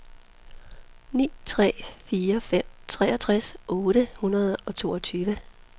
ni tre fire fem treogtres otte hundrede og toogtyve